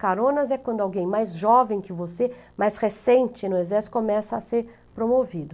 Caronas é quando alguém mais jovem que você, mais recente no exército, começa a ser promovido.